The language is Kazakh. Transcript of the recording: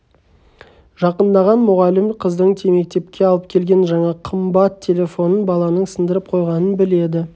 жақындаған мұғалім қыздың мектепке алып келген жаңа қымбат телефонын баланың сындырып қойғанын біледі